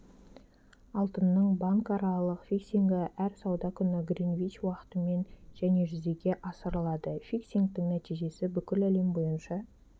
алтынның банкаралық фиксингі әр сауда күні гринвич уақытымен және жүзеге асырылады фиксингтің нәтижесі бүкіл әлем бойынша